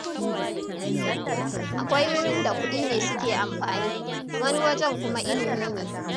Akwai wurin da kuɗi ne suke amfani, wani wajen kuma ilimi ne.